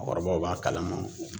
Mɔɔkɔrɔbaw b'a kalama.